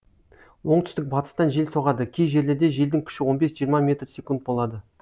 оңтүстік батыстан жел соғады кей жерлерде желдің күші он бес жиырма метрсекунд болады